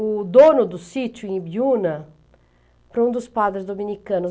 o dono do sítio, em Ibiúna, para um dos padres dominicanos.